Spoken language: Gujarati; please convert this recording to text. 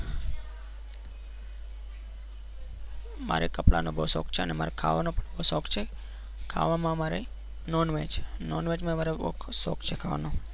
મારે કપડાનો બહુ શોખ છે અને મારે ખાવાનો પણ શોખ છે. ખાવામાં મારે નોનવેજ નોનવેજ મારે ખૂબ શોખ છે ખાવાનો.